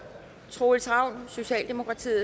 troels ravn